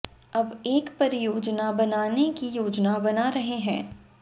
अब एक परियोजना बनाने कि योजना बना रहे हैं